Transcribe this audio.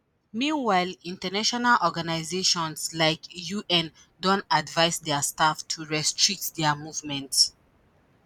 meanwhile international organisations like un don advise dia staff to restrict dia movement